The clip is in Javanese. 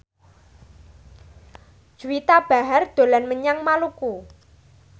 Juwita Bahar dolan menyang Maluku